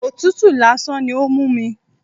Òtútù lásán ni ó ń mú mi.